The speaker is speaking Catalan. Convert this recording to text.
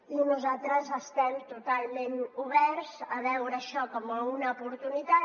i nosaltres estem totalment oberts a veure això com una oportunitat